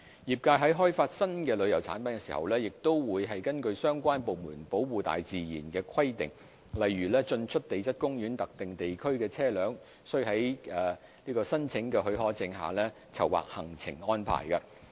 業界在開發新的旅遊產品時，亦會根據相關部門保護大自然的規定，例如在進出地質公園特定地區的車輛須領有許可證的前提下籌劃行程安排。